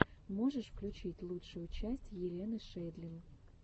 можешь включить лучшую часть елены шейдлин